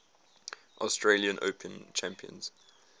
australian open champions